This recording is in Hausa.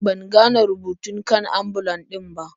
Ban gane rubutun kan ambulan din ba.